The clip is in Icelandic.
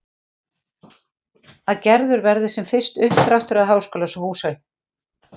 Að gerður verði sem fyrst uppdráttur að háskólahúsi.